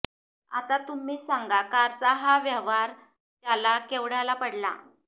आता तुम्हीच सांगा कारचा हा व्यवहार त्याला केवढ्याला पडला